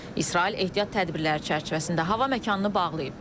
İsrail ehtiyat tədbirləri çərçivəsində hava məkanını bağlayıb.